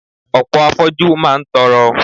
Ọ̀pọ̀ afoju máa ń tọrọ.